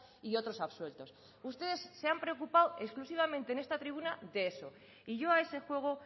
y otros absueltos ustedes se han preocupado exclusivamente en esta tribuna de eso y yo a ese juego